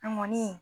An kɔni